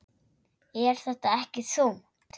Er þetta ekki þungt?